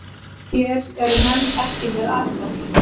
Hér eru menn ekki með asa.